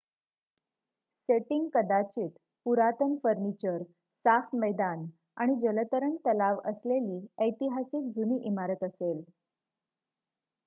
setting कदाचित पुरातन furniture साफ मैदान आणि जलतरण तलाव असलेली ऐतिहासिक जुनी इमारत असेल